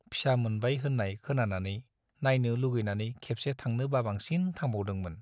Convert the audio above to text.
फिसा मोनबाय होन्नाय खोनानानै नाइनो लुबैनानै खेबसे थांनो बाबांसिन थांबावदोंमोन।